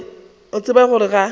o a tseba gore ga